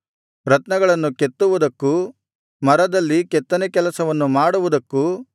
ರತ್ನಗಳನ್ನು ಕೆತ್ತುವುದಕ್ಕೂ ಮರದಲ್ಲಿ ಕೆತ್ತನೇ ಕೆಲಸವನ್ನು ಮಾಡುವುದಕ್ಕೂ